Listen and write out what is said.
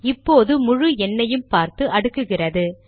இப்போது முழு எண்னையும் பார்த்து அடுக்குகிறது